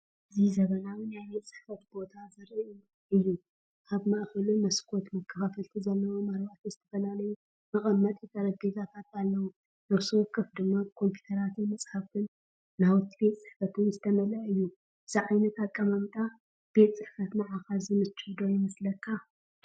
እዚ ዘመናዊ ናይ ቤት ጽሕፈት ቦታ ዘርኢ እዩ። ኣብ ማእከሉ መስኮት መከፋፈልቲ ዘለዎም ኣርባዕተ ዝተፈላለዩ መቐመጢ ጠረጴዛታት ኣለዉ፣ ነፍሲ ወከፍ ድማ ብኮምፒዩተራትን መጻሕፍትን ናውቲ ቤት ጽሕፈትን ዝተመልአ እዩ። እዚ ዓይነት ኣቀማምጣ ቤት ጽሕፈት ንዓኻ ዝምችእ ዶ ይመስለካ?